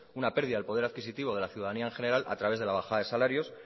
una pérdida del poder adquisitivo de la ciudadanía en general a través de la bajada de salarios